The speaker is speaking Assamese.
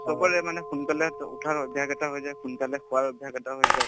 চবৰে মানে সোনকালে টো উঠাৰ অভ্যাস এটা হৈ যায় সোনকালে শুৱাৰ অভ্যাস এটা হৈ যায়